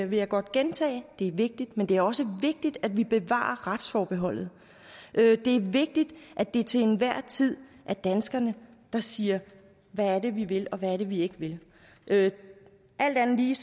vil jeg godt gentage det er vigtigt men det er også vigtigt at vi bevarer retsforbeholdet det er vigtigt at det til enhver tid er danskerne der siger hvad er det vi vil og hvad er det vi ikke vil alt andet lige